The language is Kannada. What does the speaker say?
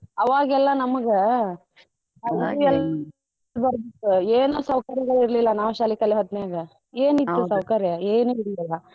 ಅವಗೆಲ್ಲಾ ನಮಗ ಏನೂ ಸೌಕರ್ಯಗಳಿರ್ಲಿಲ್ಲಾ ನಾವ್ ಶಾಲಿ ಕಲಿಯೋ ಹೊತ್ನ್ಯಾಗ ಏನ್ ಸೌಕರ್ಯ ಏನೂ ಇರ್ಲಿಲ್ಲಾ.